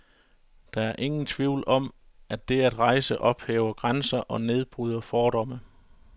Der er ingen tvivl om, at det at rejse ophæver grænser og nedbryder fordomme.